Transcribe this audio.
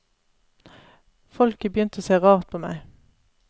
Folk er begynt å se rart på meg.